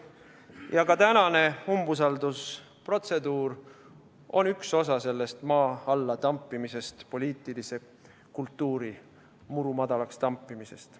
Ja ka tänane umbusaldusprotseduur on üks osa sellest maa alla tampimisest, poliitilise kultuuri murumadalaks tampimisest.